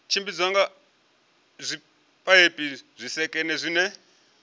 tshimbidzwa nga zwipaipi zwisekene zwine